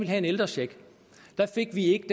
have en ældrecheck fik vi ikke